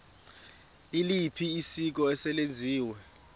liliphi isiko eselenziwe